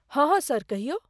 हँ हँ सर, कहियौ।